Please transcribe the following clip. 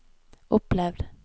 opplevd